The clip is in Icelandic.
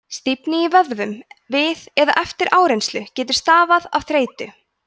stífni í vöðvum við eða eftir áreynslu getur stafað af þreytu